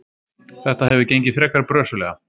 Þetta hefur gengið frekar brösuglega.